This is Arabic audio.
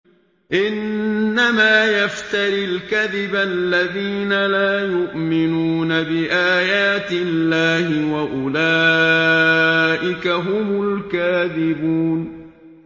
إِنَّمَا يَفْتَرِي الْكَذِبَ الَّذِينَ لَا يُؤْمِنُونَ بِآيَاتِ اللَّهِ ۖ وَأُولَٰئِكَ هُمُ الْكَاذِبُونَ